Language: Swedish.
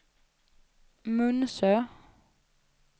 Munsö